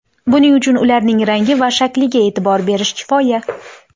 Buning uchun ularning rangi va shakliga e’tibor berish kifoya.